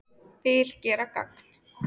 Vil gera gagn